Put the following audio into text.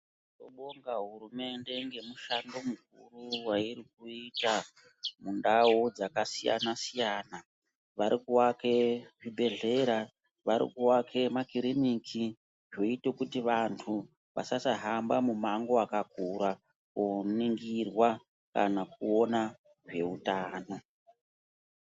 Tinobonga hurumende ngemushando mukuru wairi kuita mundau dzakasiyana siyana. Vari kuvake zvibhedhlera, vari kuvake makiriniki zvoite kuti vantu vasasahamba mumango wakakura koningirwa kana kuona zveutano.